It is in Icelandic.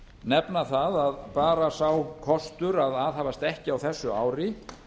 nefna það að bara sá kostur að aðhafast ekkert á þessu ári